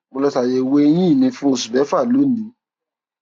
mo lọ ṣe àyẹwò eyín mi fún oṣù mẹfà lónìí